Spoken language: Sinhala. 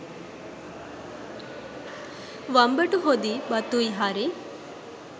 වම්බටු හොදියි බතුයි හරි